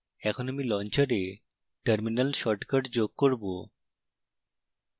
এখন আমি launcher terminal shortcut যোগ করব